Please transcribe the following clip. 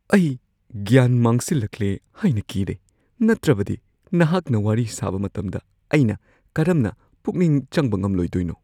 ꯑꯩ ꯒ꯭ꯌꯥꯟ ꯃꯥꯡꯁꯤꯜꯂꯛꯂꯦ ꯍꯥꯏꯅ ꯀꯤꯔꯦ, ꯅꯠꯇ꯭ꯔꯕꯗꯤ, ꯅꯍꯥꯛꯅ ꯋꯥꯔꯤ ꯁꯥꯕ ꯃꯇꯝꯗ ꯑꯩꯅ ꯀꯔꯝꯅ ꯄꯨꯛꯅꯤꯡ ꯆꯪꯕ ꯉꯝꯂꯣꯏꯗꯣꯏꯅꯣ? (ꯃꯔꯨꯞ ꯱)